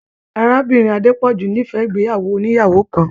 Arábìnrin Adepọju n'ifẹ ìgbéyàwó ònìyàwó kàn.